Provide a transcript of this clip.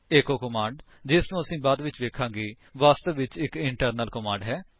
echo command ਜਿਸਨੂੰ ਅਸੀ ਬਾਅਦ ਵਿੱਚ ਵੇਖਾਂਗੇ ਵਾਸਤਵ ਵਿੱਚ ਇੱਕ ਇੰਟਰਨਲ ਕਮਾਂਡ ਹੈ